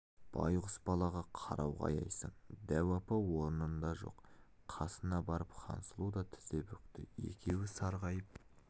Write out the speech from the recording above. байғұс балаға қарауға аяйсың дәу апа орнында жоқ қасына барып хансұлу да тізе бүкті екеуі сарғайып